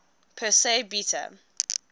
persei beta